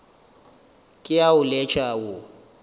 ke a o letša wo